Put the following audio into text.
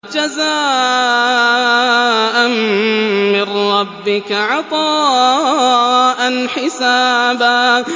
جَزَاءً مِّن رَّبِّكَ عَطَاءً حِسَابًا